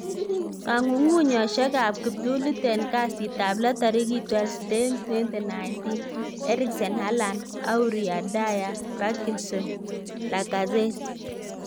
Kong'ung'unyosiek ab kiptulit en kasitab lo tarigit 12/10/2019: Eriksen, Haland, Aurier, Dier, Parkison, Lacazette